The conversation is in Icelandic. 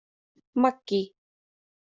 Maggý